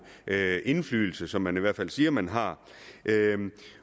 indflydelse som man i hvert fald selv siger man har